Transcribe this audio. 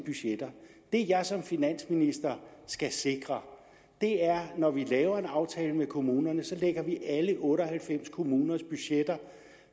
budgetter det jeg som finansminister skal sikre er at når vi laver en aftale med kommunerne lægger vi alle otte og halvfems kommuners budgetter